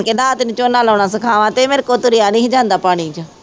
ਕਹਿੰਦਾ ਆ ਤੈਨੂੰ ਝੋਨਾ ਲਾਉਣਾ ਸਿਖਾਵਾਂ ਤੇ ਮੇਰੇ ਕੋਲੋਂ ਤੁਰਿਆ ਨੀ ਸੀ ਜਾਂਦਾ ਪਾਣੀ ਚ।